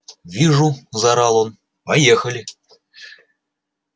вижу заорал он поехали